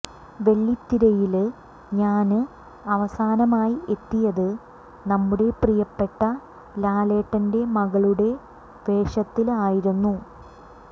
വെള്ളിത്തിരയില് ഞാന് അവസാനമായി എത്തിയത് നമ്മുടെ പ്രിയപ്പെട്ട ലാലേട്ടന്റെ മകളുടെ വേഷത്തില് ആയിരുന്നു